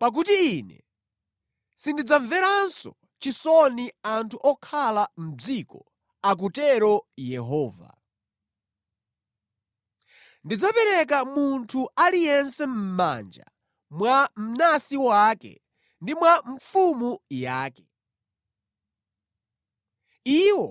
Pakuti Ine sindidzamveranso chisoni anthu okhala mʼdziko,” akutero Yehova. “Ndidzapereka munthu aliyense mʼmanja mwa mnansi wake ndi mwa mfumu yake. Iwo